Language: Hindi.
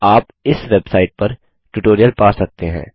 आप इस वेबसाइट पर ट्यूटोरियल पा सकते हैं